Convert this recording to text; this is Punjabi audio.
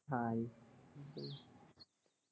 ਹਾਂ।